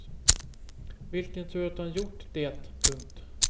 Vilken tur att han gjort det. punkt